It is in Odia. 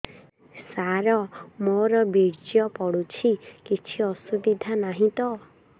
ସାର ମୋର ବୀର୍ଯ୍ୟ ପଡୁଛି କିଛି ଅସୁବିଧା ନାହିଁ ତ